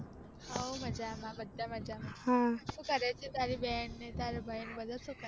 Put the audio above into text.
How મજામાં બધા મજામાં, શું કરે તારો બેન ને ભાઈ બધા સુ કરે છે.